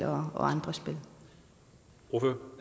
og andre